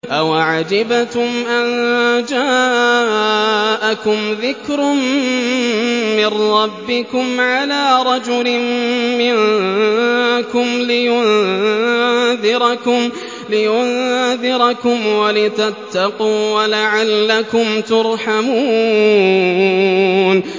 أَوَعَجِبْتُمْ أَن جَاءَكُمْ ذِكْرٌ مِّن رَّبِّكُمْ عَلَىٰ رَجُلٍ مِّنكُمْ لِيُنذِرَكُمْ وَلِتَتَّقُوا وَلَعَلَّكُمْ تُرْحَمُونَ